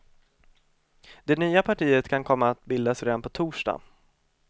Det nya partiet kan komma att bildas redan på torsdag.